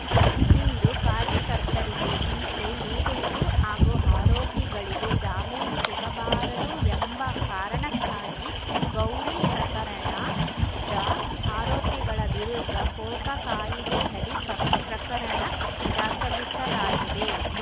ಹಿಂದು ಕಾರ್ಯಕರ್ತರಿಗೆ ಹಿಂಸೆ ನೀಡುವುದು ಹಾಗೂ ಆರೋಪಿಗಳಿಗೆ ಜಾಮೀನು ಸಿಗಬಾರದು ಎಂಬ ಕಾರಣಕ್ಕಾಗಿ ಗೌರಿ ಪ್ರಕರಣದ ಆರೋಪಿಗಳ ವಿರುದ್ಧ ಕೋಕಾ ಕಾಯಿದೆಯಡಿ ಪಕ್ ಪ್ರಕರಣ ದಾಖಲಿಸಲಾಗಿದೆ